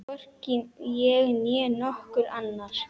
Hvorki ég né nokkur annar.